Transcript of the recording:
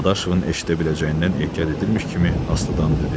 Dadaşovun eşidə biləcəyindən ehtiyat edirmiş kimi astadan dedi: